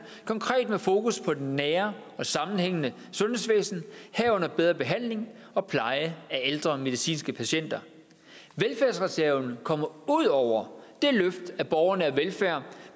konkret fokus på det nære og sammenhængende sundhedsvæsen herunder bedre behandling og pleje af ældre medicinske patienter velfærdsreserven kommer ud over det løft af borgernær velfærd